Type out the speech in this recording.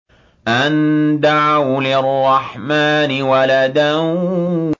أَن دَعَوْا لِلرَّحْمَٰنِ وَلَدًا